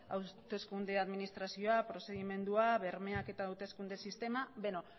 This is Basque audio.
hauteskunde administrazioa prozedimendua bermeak eta hauteskunde sistema